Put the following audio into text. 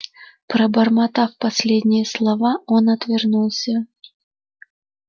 пробормотав последние слова он отвернулся